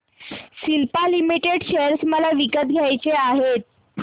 Cipla limited share मला विकत घ्यायचे आहेत